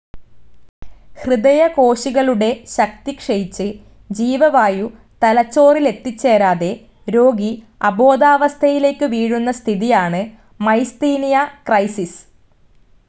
ഹൃദയകോശികളുടെ ശക്തിക്ഷയിച്ച് ജീവവായു തലച്ചോറിലെത്തിച്ചേരാതെ രോഗി അബോധാവസ്ഥയിലേക്ക് വീഴുന്ന സ്ഥിതിയാണ് മൈസ്തീനിയ ക്രൈസിസ്.